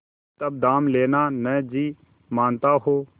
तब दाम लेना न जी मानता हो